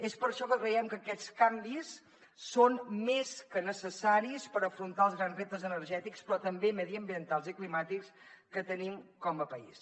és per això que creiem que aquests canvis són més que necessaris per afrontar els grans reptes energètics però també mediambientals i climàtics que tenim com a país